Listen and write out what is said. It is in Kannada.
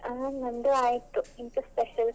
ಹಾ ನಂದು ಆಯ್ತು ಎಂತ special ?